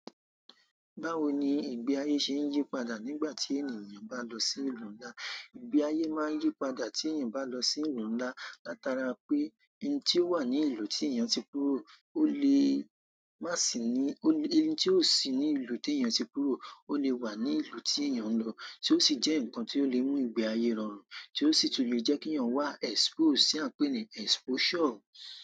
Báwo ni ìgbé ayé ṣe ń yí padà nígbà tí ènìyàn bá lọ sí ìlú ńlá? Ìgbé ayé máa ń yí padà tí ènìyàn bá lọ sí ìlú ńlá, látara pé nn tí ó wà ní ìlú tí ènìyàn ti kúrò ó lè má sì ní-- ó lé-- nn tí ó sì ní ìlú tí ènìyàn ti kúrò ó lè wà ní ìlú tí ènìyàn ń lọ, tí ó sì jẹ́ nǹkan tí ó lè mú ìgbé ayé rọrùn, tí ó sì tun lè jẹ́ kí ènìyàn wá exposed tí à ń pè ní exposure.